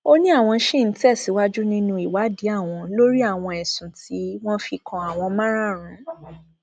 ó ní àwọn ṣì ń tẹsíwájú nínú ìwádìí àwọn lórí àwọn ẹsùn tí wọn fi kan àwọn máràrunún